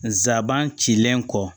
Nsaban cilen kɔ